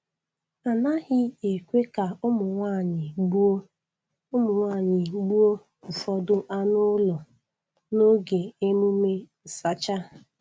A naghị ekwe ka ụmụ nwanyị gbuo nwanyị gbuo ụfọdụ anụ ụlọ n'oge emume nsacha.